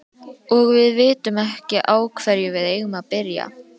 Og við vitum ekki á hverju við eigum að byrja.